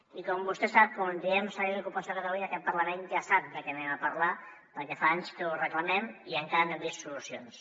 i com vostè sap quan diem servei d’ocupació de catalunya aquest parlament ja sap de què parlarem perquè fa anys que ho reclamem i encara no hem vist solucions